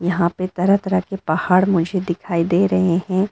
यहां पे तरह तरह के पहाड़ मुझे दिखाई दे रहे हैं।